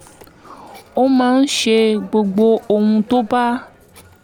ó máa ń ṣe gbogbo ohun tó bá